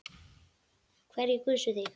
Hverjir kusu þig?